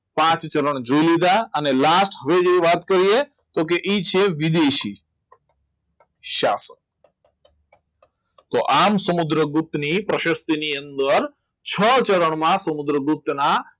પાંચ ચરણ જોઈ લીધા અને last હવે જે વાત કરીએ તો કે એ છે વિદેશી શાસક તો આમ સમુદ્રગુપ્ત ની પ્રશસ્તી ની અંદર છ ચરણમાં સમુદ્રગુપ્ત ના